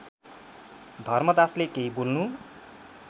धर्मदासले केही बोल्नु